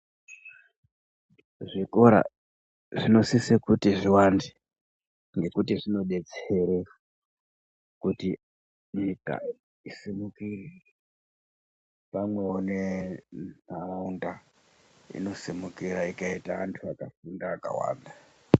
Zvikora zvinosise kuti zviwande ngekuti zvinodetsera kuti nyika isimukire pamwewo nenharaunda inosimukira ikaite antu akafunda akawanda.